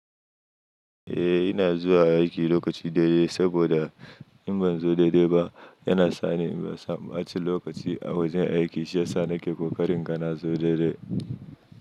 Eh ina zuwa aiki lokaci daidai saboda in ban zo daidai ba yana sa ni in samu aci lokaci a wajen aiki shi yasa nake ƙoƙarin inga na zo daidai.